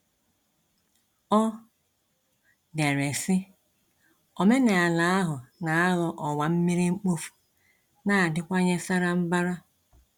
Ọ dere sị: Omenala ahụ na aghọ ọwa mmiri mkpofu na adịwanye sara mbara.